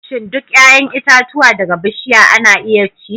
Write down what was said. Shin duk 'ya'yan itatuwa daga bishiya ana iya ci?